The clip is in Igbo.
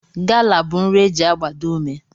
Gala bụ nri e ji agbado ume